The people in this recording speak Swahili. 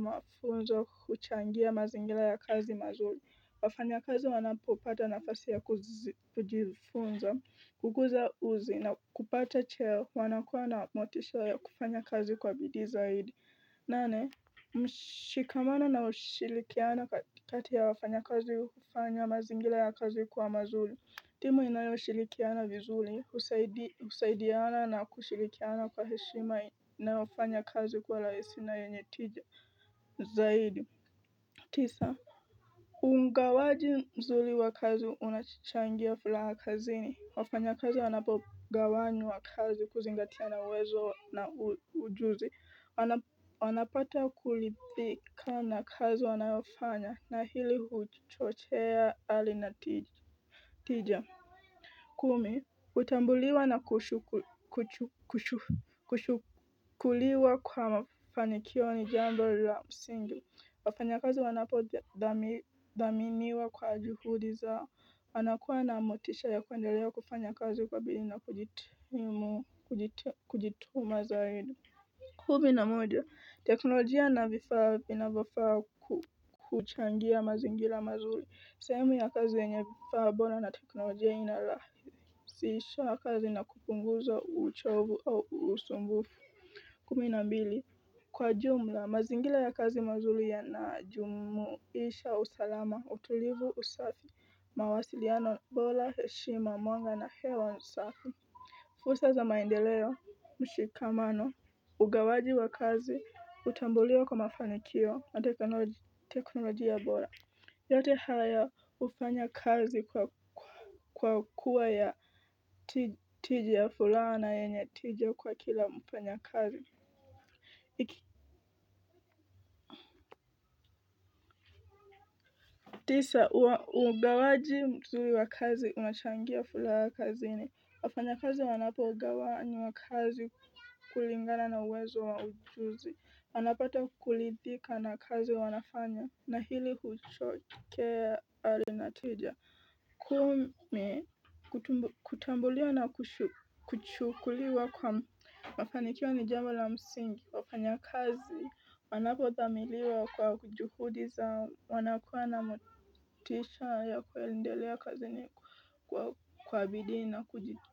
mafunzo huchangia mazingira ya kazi mazuri. Wafanya kazi wanapopata nafasi ya kujifunza, kukuza uzi na kupata cheo wanakuwa na motisha ya kufanya kazi kwa bidii zaidi. Nane, mshikamano na ushirikiano kati ya wafanya kazi hufanya mazingira ya kazi kuwa mazuri. Timu inayoshirikiana vizuri husaidiana na kushirikiana kwa heshima na wafanya kazi kuwa rahisi na yenye tija zaidi tisa Ungawaji mzuri wakazi unachangia furaha kazini wafanya kazi wanapogawanywa kazi kuzingatia na uwezo na ujuzi Wanapata kuridhika na kazi wanayofanya na hili huchochea ari na tija kumi, utambuliwa na kushukuriwa kwa mafanikio ni jambol la msingi, wafanya kazi wanapo dhaminiwa kwa juhudi zao, wanakuwa na motisha ya kuendelea kufanya kazi kwa bidii na kujitimu, kujituma zaidi kumi na moja, teknolojia na vifaa vinavofaa kuchangia mazingira mazuri, sehemu ya kazi yenye vifaa bora na teknolojia inarahisisha kazi na kupunguza uchovu au usumbufu Kuminambili Kwa jumla, mazingira ya kazi mazuri yanajumuisha, usalama, utulivu, usafi, mawasiliano, bora, heshima, mwanga na hewa safi fursa za maendeleo, mshikamano Ugawaji wa kazi utambulio kwa mafanikio na teknolojia bora yote haya hufanya kazi kwa kwa kuwa ya tija furaha na yenye tija kwa kila mfanya kazi tisa, ugawaji mzuri wa kazi unachangia furaha kazini wafanya kazi wanapo gawanywa kazi kulingana na uwezo wa ujuzi anapata kulidhika na kazi wanafanya na hili hucho kea ari na tija kumi kutambuliwa na kuchukuliwa kwa mafanikio ni jambo la msingi wafanya kazi wanapothamiliwa kwa kujuhudi zao wanakuwa na motisha ya kuelendelea kazini kwa bidii na kujitoa.